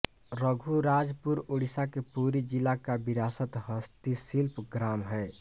रघुराजपुर ओड़िसा के पुरी जिला का विरासत हस्तशिल्प ग्राम है